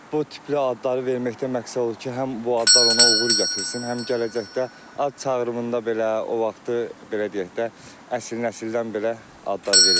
Bu tip adları verməkdə məqsəd odur ki, həm bu adlar ona uğur gətirsin, həm gələcəkdə ad çağırımında belə o vaxtı, belə deyək də, əsil nəsildən belə adlar verilir.